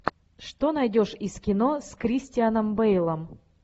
что найдешь из кино с кристианом бейлом